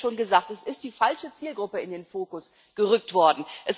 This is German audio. Es wurde hier schon gesagt Es ist die falsche Zielgruppe in den Fokus gerückt worden.